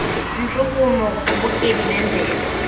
ntshukumo kubutyebi bemvelo